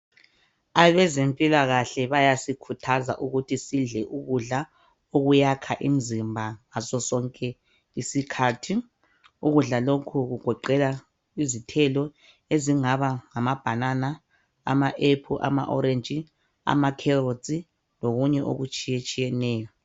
Abezempilakahle bayasikhuthaza ukuthi sidle ukudla okuyakha imizimba ngaso sonke isikhathi ukudla lokhu kugoqela izithelo enzingaba ngama bhanana, ama aphulu , amaorantshi lamakheroti lokunye okutshiyetshiyeneyo.